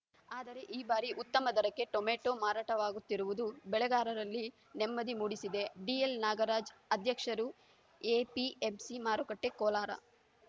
ಆದರೆ ಈ ಬಾರಿ ಉತ್ತಮ ದರಕ್ಕೆ ಟೊಮೆಟೋ ಮಾರಾಟವಾಗುತ್ತಿರುವುದು ಬೆಳೆಗಾರರಲ್ಲಿ ನೆಮ್ಮದಿ ಮೂಡಿಸಿದೆ ಡಿಎಲ್‌ನಾಗರಾಜ್‌ ಅಧ್ಯಕ್ಷರು ಎಪಿಎಂಸಿ ಮಾರುಕಟ್ಟೆಕೋಲಾರ